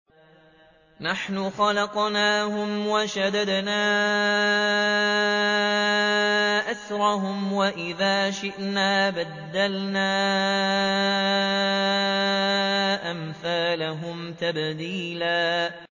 نَّحْنُ خَلَقْنَاهُمْ وَشَدَدْنَا أَسْرَهُمْ ۖ وَإِذَا شِئْنَا بَدَّلْنَا أَمْثَالَهُمْ تَبْدِيلًا